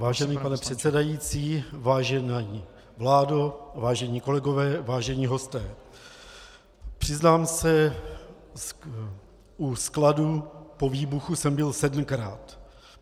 Vážený pane předsedající, vážená vládo, vážení kolegové, vážení hosté, přiznám se, u skladů po výbuchu jsem byl sedmkrát.